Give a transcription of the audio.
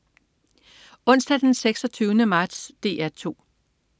Onsdag den 26. marts - DR 2: